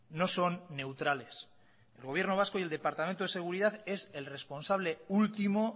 no son neutrales el gobierno vasco y el departamento de seguridad es el responsable último